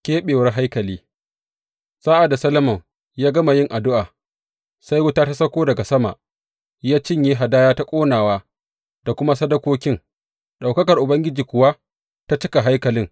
Keɓewar haikali Sa’ad da Solomon ya gama yin addu’a, sai wuta ya sauko daga sama ya cinye hadaya ta ƙonawa da kuma sadakokin, ɗaukakar Ubangiji kuwa ta cika haikalin.